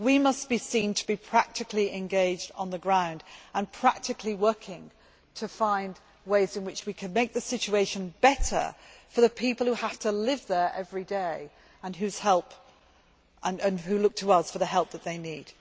We must be seen to be practically engaged on the ground and practically working to find ways in which we can make the situation better for the people who have to live there every day and who look to us for the help that they need.